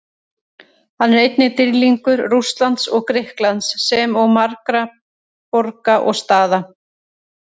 Hann er einnig dýrlingur Rússlands og Grikklands, sem og margra borga og staða.